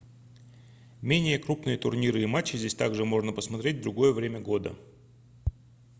менее крупные турниры и матчи здесь также можно посмотреть в другое время года